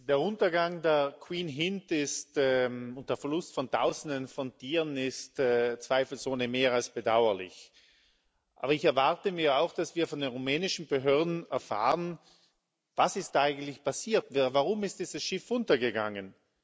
Der Untergang der Queen Hind und der Verlust von Tausenden von Tieren ist zweifelsohne mehr als bedauerlich. Aber ich erwarte mir auch, dass wir von den rumänischen Behörden erfahren Was ist eigentlich passiert? Warum ist dieses Schiff untergegangen?